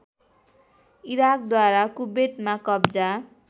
इराकद्वारा कुवेतमा कब्जा